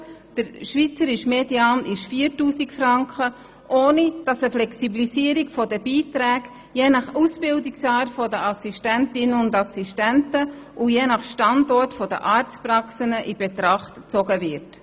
Der schweizerische Median liegt bei 4000 Franken, ohne dass eine Flexibilisierung der Beiträge nach Ausbildungsart der Assistenzärztinnen und Assistenzärzte sowie nach Standort der Arztpraxen berücksichtigt wird.